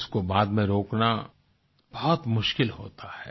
उसको बाद में रोकना बहुत मुश्किल होता है